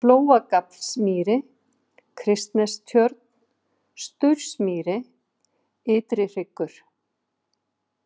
Flóagaflsmýri, Kristnestjörn, Staursmýri, Ytrihryggur